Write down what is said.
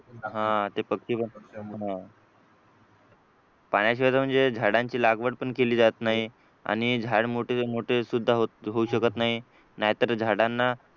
पाण्याशिवाय तर म्हणजे झाडांची लागवड पण केली जात नाही आणि झाड मोठे मोठी सुद्धा होऊ शकत नाही नाहीतर झाडांना